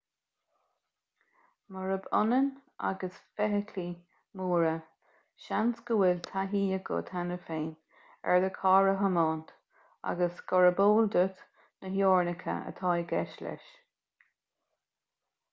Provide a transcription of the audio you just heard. murab ionann agus feithiclí móra seans go bhfuil taithí agat cheana féin ar do charr a thiomáint agus gurb eol duit na teorainneacha atá i gceist leis